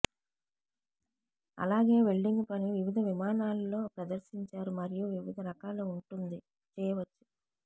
అలాగే వెల్డింగ్ పని వివిధ విమానాలు లో ప్రదర్శించారు మరియు వివిధ రకాల ఉంటుంది చేయవచ్చు